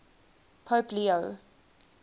pope leo